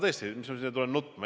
Tõesti, kas ma tulen siia nutma?